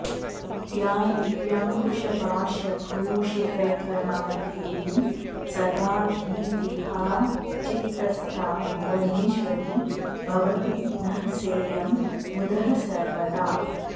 या दिव्याङ्कुशपाशभूषितकरा देवी सदा भीतिहा चित्तस्था भुवनेश्वरी भवतु नः सेयं मुदः सर्वदा